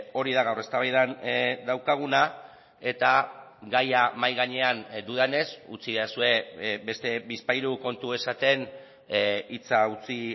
hori da gaur eztabaidan daukaguna eta gaia mahai gainean dudanez utzidazue beste bizpahiru kontu esaten hitza utzi